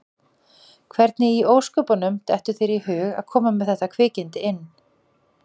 Hvernig í ósköpunum dettur þér í hug að koma með þetta kvikindi inn?